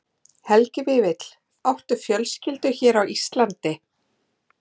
Helgi Vífill: Áttu fjölskyldu hér á Íslandi?